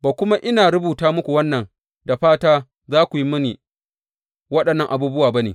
Ba kuma ina rubuta muku wannan da fata za ku yi mini waɗannan abubuwa ba ne.